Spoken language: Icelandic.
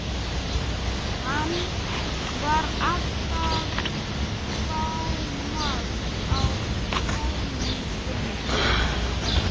Hann var alltaf fámáll á kveðjustundum.